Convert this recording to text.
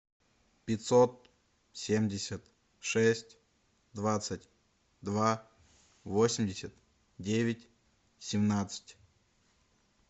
пятьсот семьдесят шесть двадцать два восемьдесят девять семнадцать